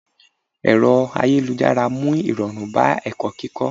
Ẹ̀rọ ayélujára mú irọrun bá ẹ̀kọ́ kíkó.